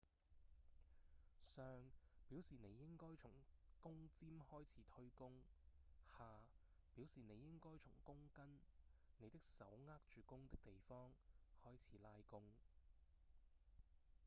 上表示您應該從弓尖開始推弓下表示您應該從弓根您的手握住弓的地方開始拉弓